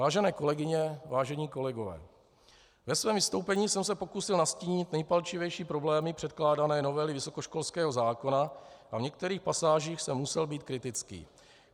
Vážené kolegyně, vážení kolegové, ve svém vystoupení jsem se pokusil nastínit nejpalčivější problémy předkládané novely vysokoškolského zákona a v některých pasážích jsem musel být kritický.